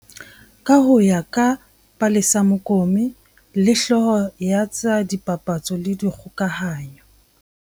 Ka ho ya ka Palesa Mokome le, hlooho ya tsa dipapatso le dikgokahanyo.